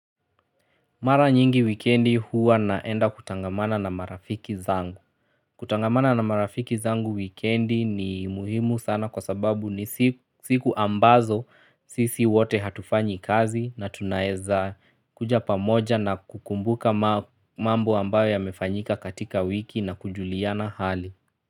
Mara nyingi wikendi huwa naenda kutangamana na marafiki zangu. Kutangamana na marafiki zangu wikendi ni muhimu sana kwa sababu ni siku ambazo sisi wote hatufanyi kazi na tunaeza kuja pamoja na kukumbuka mambo ambayo ya mefanyika katika wiki na kujuliana hali.